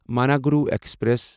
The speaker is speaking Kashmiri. منوگورو ایکسپریس